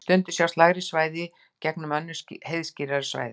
stundum sjást lægri svæði í gegnum önnur heiðskírari svæði